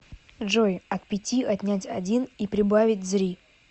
джой от пяти отнять один и прибавить зри